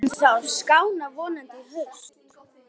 En það skánar vonandi í haust.